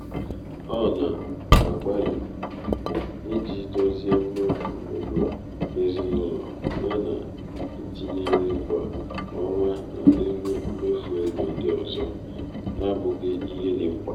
ọ na- agbani iji dozie mmefu ego ezinụlọ ya na-etinye nri kwa ọnwa n’elu mmefu ego ndị ọzọ na-abụghị ihe dị mkpa.